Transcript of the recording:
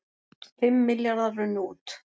Fimm milljarðar runnu út